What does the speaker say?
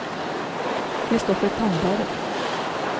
Christoffer Tandberg